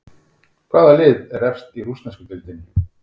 Hvaða lið er efst í rússnesku deildinni?